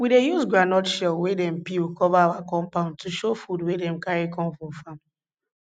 we dey use groundnut shell wey dem peel cover our compound to show food wey we carry come from farm